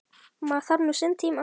Maður þarf nú sinn tíma.